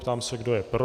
Ptám se, kdo je pro.